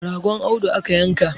ragon Audu aka yanka